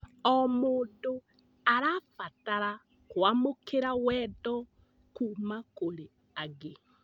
O mũndũ arabatara kũamũkĩra wendo kuuma kũrĩ angĩ.